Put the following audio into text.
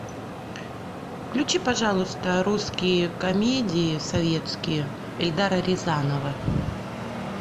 включи пожалуйста русские комедии советские эльдара рязанова